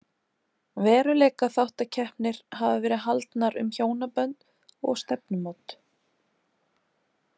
Veruleikaþáttakeppnir hafa verið haldnar um hjónabönd og stefnumót.